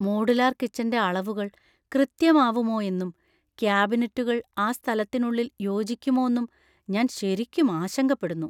Modular കിച്ചന്‍റെ അളവുകൾ കൃത്യമാവുമോയെന്നും, കാബിനറ്റുകൾ ആ സ്ഥലത്തിനുള്ളിൽ യോജിക്കുമോന്നും ഞാൻ ശരിക്കും ആശങ്കപ്പെടുന്നു.